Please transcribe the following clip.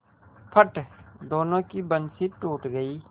फट दोनों की बंसीे टूट गयीं